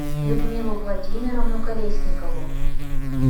людмилу владимировну колесникову